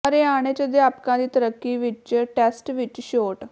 ਹਰਿਆਣੇ ਚ ਅਧਿਆਪਕਾਂ ਦੀ ਤਰੱਕੀ ਵਿਚ ਟੈਸਟ ਵਿਚ ਛੋਟ